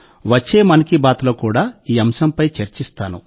వచ్చే 'మన్ కీ బాత్'లో కూడా ఈ అంశంపై చర్చిస్తాను